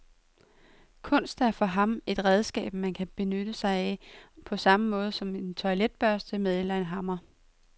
Kunst er for ham et redskab, man kan benytte sig af, på samme måde som en toiletbørste eller en hammer.